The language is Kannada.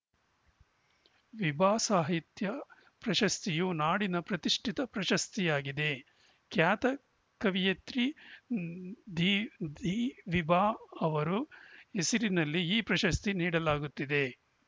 ವಿಭಾ ಸಾಹಿತ್ಯ ಪ್ರಶಸ್ತಿಯು ನಾಡಿನ ಪ್ರತಿಷ್ಠಿತ ಪ್ರಶಸ್ತಿಯಾಗಿದೆ ಖ್ಯಾತ ಕವಯತ್ರಿ ದಿದಿವಿಭಾ ಅವರು ಹೆಸರಿನಲ್ಲಿ ಈ ಪ್ರಶಸ್ತಿ ನೀಡಲಾಗುತ್ತಿದೆ